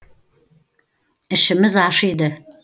ішіміз ашиды